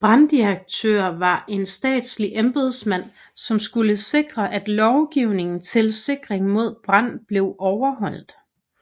Branddirektør var en statslig embedsmand som skulle sikre at lovgivning til sikring mod brand blev overholdt